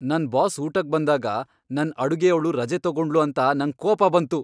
ನನ್ ಬಾಸ್ ಊಟಕ್ ಬಂದಾಗ್ ನನ್ ಅಡುಗೆಯವ್ಳು ರಜೆ ತಗೊಂಡ್ಳು ಅಂತ ನಂಗ್ ಕೋಪ ಬಂತು.